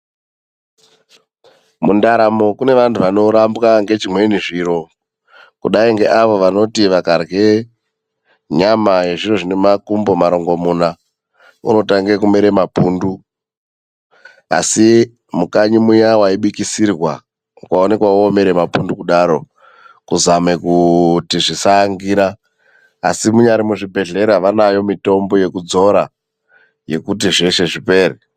Mundaramo kune vantu vanorambwa ngezvimweni zviro, kudai ngeavo vanoti vakarye nyama yezviro zvine makumbo marongomuna, unotange kumere mapundu, Asi mukanyi muya waibikisirwa, ukaonekwa womere mapundu kudaro kuzame kuti zvisaangira. Asi munyari muzvibhedhlera, vanayo mitombo yekudzora yekuti zveshe zvipere.